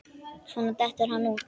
Svo dettur hann út.